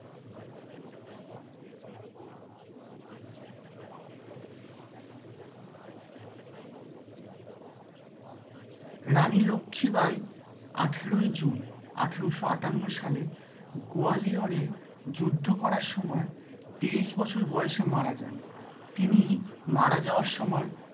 রানী লক্ষি বাই আঠেরোই June আঠেরোশো আটান্ন সালে গয়ালিওরে যুদ্ধ করার সময় তেইশ বছর বয়েসে মারা যান। তিনি মারা যাওয়ার সময়